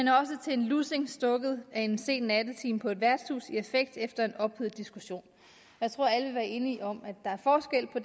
en lussing stukket i en sen nattetime på et værtshus i affekt efter en ophedet diskussion jeg tror alle vil være enige om at der er forskel på